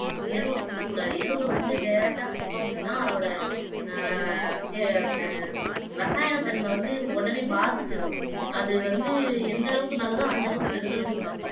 எருவ கொடுக்கக் கூடாது எருவ வந்து direct கொடுத்தோம் அப்படின்னா அதோட ஆஹ் க அந்த ரசாயன தன்மை வந்து உடனே பாதிச்சிடும் அது வந்து எந்த அளவுக்கு நல்லதோ அந்த அளவுக்கு கெடுதலும் கூட